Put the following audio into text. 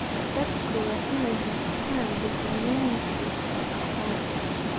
Dadku waa inay haystaan ??dukumeenti aqoonsi.